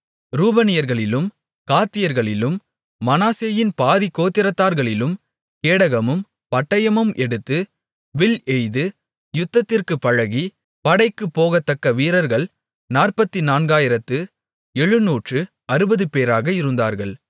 ரூபனியர்களிலும் காத்தியர்களிலும் மனாசேயின் பாதிக்கோத்திரத்தார்களிலும் கேடகமும் பட்டயமும் எடுத்து வில் எய்து யுத்தத்திற்குப் பழகி படைக்குப் போகத்தக்க வீரர்கள் நாற்பத்துநான்காயிரத்து எழுநூற்று அறுபதுபேராக இருந்தார்கள்